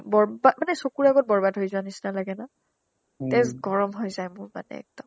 মানে চকুৰ আগত বৰ্বাদ হহৈ যোৱা নিচিনা লাগে ন তেজ গৰম হৈ যাই মোৰ মানে একদম